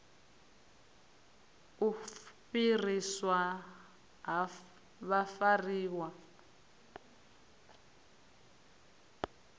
na u fhiriswa ha vhafariwa